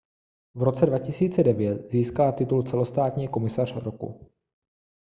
v roce 2009 získala titul celostátní komisař roku